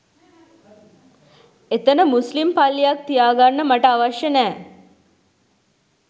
එතන මුස්ලිම් පල්ලියක් තියාගන්න මට අවශ්‍ය නෑ